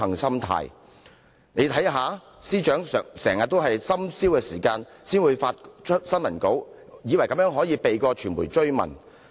大家可以看到，司長經常在深宵時分發新聞稿，以為這樣便可以避過傳媒的追問。